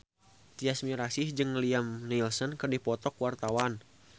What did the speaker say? Tyas Mirasih jeung Liam Neeson keur dipoto ku wartawan